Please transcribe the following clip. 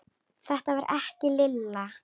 Þetta var ekki Lilla.